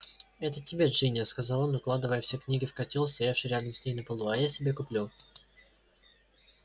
это тебе джинни сказал он укладывая все книги в котёл стоявший рядом с ней на полу а я себе куплю